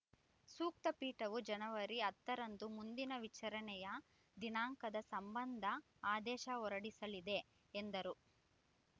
ಸೂಕ್ತ ಪೀಠವು ಜನವರಿ ಹತ್ತರಂದು ಮುಂದಿನ ವಿಚಾರಣೆಯ ದಿನಾಂಕದ ಸಂಬಂಧ ಆದೇಶ ಹೊರಡಿಸಲಿದೆ ಎಂದರು